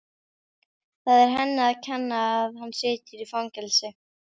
Það er henni að kenna að hann situr í fangelsi.